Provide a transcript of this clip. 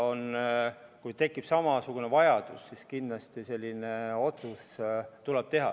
Kui tekib samasugune vajadus, siis tuleks kindlasti uuesti selline otsus teha.